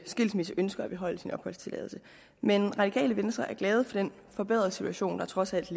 skilsmisse ønsker at beholde sin opholdstilladelse men radikale venstre er glade for den forbedrede situation der trods alt